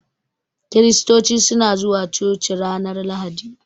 Kiristoci suna zuwa coci ranar Lahadi.